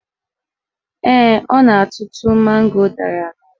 Ee, ọ na-atụtụ mango dara n'ala